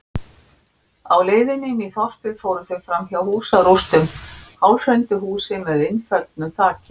Á leiðinni inn í þorpið fóru þau fram hjá húsarústum, hálfhrundu húsi með innföllnu þaki.